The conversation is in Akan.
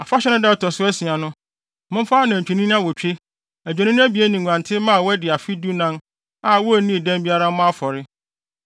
“ ‘Afahyɛ no da a ɛto so asia no, momfa de anantwinini awotwe, adwennini abien ne nguantenmma a wɔadi afe dunan a wonnii dɛm biara mmɔ afɔre.